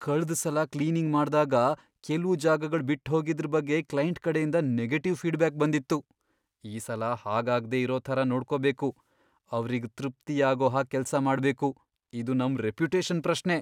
ಕಳ್ದ್ ಸಲ ಕ್ಲೀನಿಂಗ್ ಮಾಡ್ದಾಗ ಕೆಲ್ವು ಜಾಗಗಳ್ ಬಿಟ್ಹೋಗಿದ್ರ್ ಬಗ್ಗೆ ಕ್ಲೈಂಟ್ ಕಡೆಯಿಂದ ನೆಗೆಟಿವ್ ಫೀಡ್ಬ್ಯಾಕ್ ಬಂದಿತ್ತು. ಈ ಸಲ ಹಾಗಾಗ್ದೇ ಇರೋ ಥರ ನೋಡ್ಕೊಬೇಕು, ಅವ್ರಿಗ್ ತೃಪ್ತಿಯಾಗೋ ಹಾಗ್ ಕೆಲ್ಸ ಮಾಡ್ಬೇಕು, ಇದು ನಮ್ ರೆಪ್ಯುಟೇಷನ್ ಪ್ರಶ್ನೆ.